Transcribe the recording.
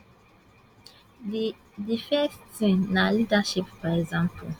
di first tin na leadership by example